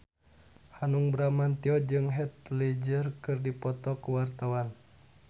Hanung Bramantyo jeung Heath Ledger keur dipoto ku wartawan